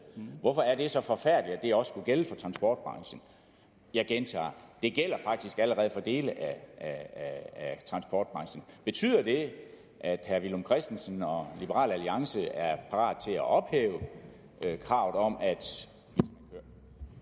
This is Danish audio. hvorfor er det så forfærdeligt at det også skulle gælde for transportbranchen jeg gentager det gælder faktisk allerede for dele af transportbranchen betyder det at herre villum christensen og liberal alliance er parat til at ophæve kravet om at